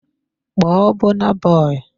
Call Burna Boy!